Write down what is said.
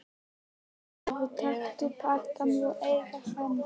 Blessaður, taktu pakkann og eigðu hann.